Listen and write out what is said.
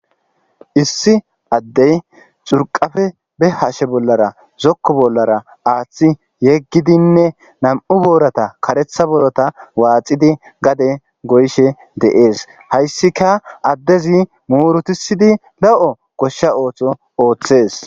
issi addey curqafe be hashe bollara zokko bollara aaththi yeggidinne nam7u boorata karetha borota waaxidi gade goyishe de7ees hayssika addezi murutissidi lo7o goshsha ootho ooththees.